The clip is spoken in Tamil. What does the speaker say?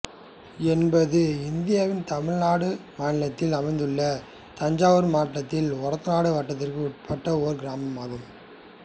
என்பது இந்தியாவின் தமிழ்நாடு மாநிலத்தில் அமைந்துள்ள தஞ்சாவூர் மாவட்டத்தில் ஒரத்தநாடு வட்டத்திற்கு உட்பட்ட ஓர் கிராமமாகும்